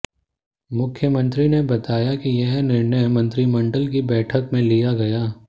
मुख्यमंत्री ने बताया कि यह निर्णय मंत्रिमंडल की बैठक में लिया गया